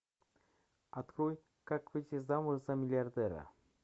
открой как выйти замуж за миллиардера